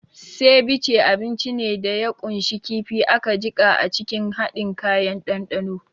Ceviche abinci ne da ya ƙunshi kifi aka jiƙa a cikin haɗin kayan dandano.